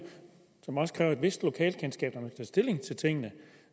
som også kræver et vist lokalkendskab når man skal stilling til tingene